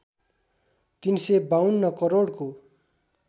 ३५२ करोडको